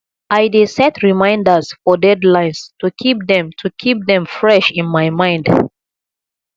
i dey set reminders for deadlines to keep them to keep them fresh in my mind